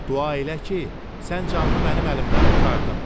Dua elə ki, sən canını mənim əlimdən qurtardın.